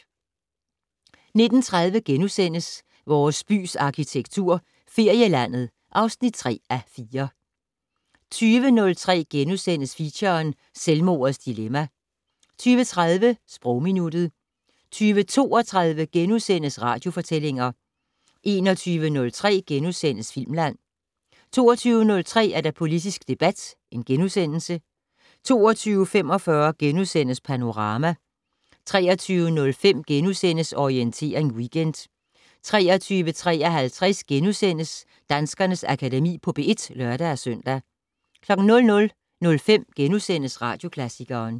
19:30: Vores bys arkitektur - Ferielandet (3:4)* 20:03: Feature: Selvmordets dilemma * 20:30: Sprogminuttet 20:32: Radiofortællinger * 21:03: Filmland * 22:03: Politisk debat * 22:45: Panorama * 23:05: Orientering Weekend * 23:53: Danskernes Akademi på P1 *(lør-søn) 00:05: Radioklassikeren *